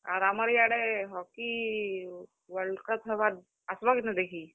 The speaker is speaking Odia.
ଆର୍ ଆମର୍ ଇ ଆଡେ Hockey WorldCup ହେବା, ଆସ୍ ବ କିନି ଦେଖି?